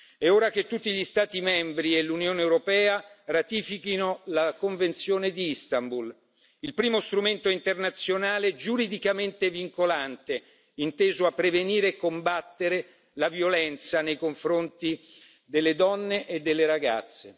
È ora che tutti gli Stati membri e l'Unione europea ratifichino la Convenzione di Istanbul, il primo strumento internazionale giuridicamente vincolante inteso a prevenire e combattere la violenza nei confronti delle donne e delle ragazze.